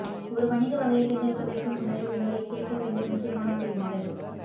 ஒரு வணிக வகையைத் தேர்ந்தெடுப்பதற்கு முன்னரே உங்களைக் கேட்க வேண்டிய முக்கியமான கேள்விகள்